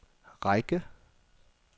række